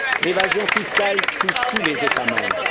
L'évasion fiscale touche tous les États membres.